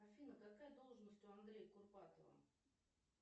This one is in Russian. афина какая должность у андрея курпатова